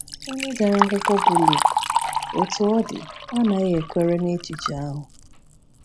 Onye dere akwụkwọ bụ Luk, Otú ọ dị, anaghị ekwere na echiche ahụ.